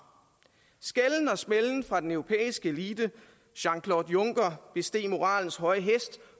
skælden og smælden fra den europæiske elite jean claude juncker besteg moralens høje hest